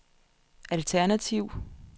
alternativ